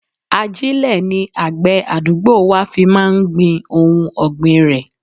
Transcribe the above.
Ajile ni àgbè àdúgbò wa fi máa ń gbin ohun ọgbin rẹ.